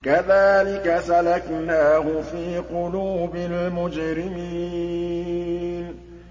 كَذَٰلِكَ سَلَكْنَاهُ فِي قُلُوبِ الْمُجْرِمِينَ